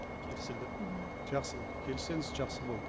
келісілді жақсы болды келіссеңіз жақсы болды